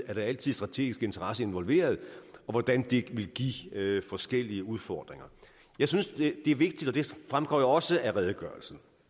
er der altid strategiske interesser involveret og hvordan det vil give forskellige udfordringer jeg synes det er vigtigt og det fremgår også af redegørelsen